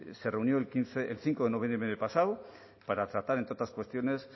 se reunió el cinco de noviembre pasado para tratar entre otras cuestiones